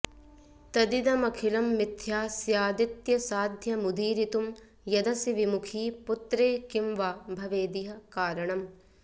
तदिदमखिलं मिथ्या स्यादित्यसाध्यमुदीरितुं यदसि विमुखी पुत्रे किं वा भवेदिह कारणम्